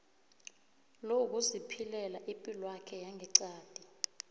lokuziphilela ipilwakhe yangeqadi